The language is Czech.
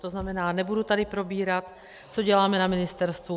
To znamená, nebudu tady probírat, co děláme na ministerstvu.